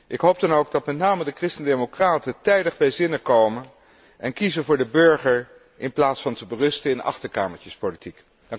Ik hoop dan ook dat met name de christendemocraten tijdig bij zinnen komen en kiezen voor de burger, in plaats van te berusten in achterkamertjespolitiek.